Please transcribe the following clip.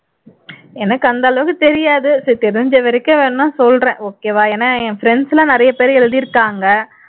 எனக்கு அந்த அளவுக்கு தெரியாது தெரிஞ்ச வரைக்கும் வேணும்னா சொல்றேன் okay வா ஏன்னா என் friends எல்லாம் நிறையப்பேர் எழுதிருக்காங்க